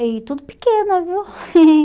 E tudo pequena, viu?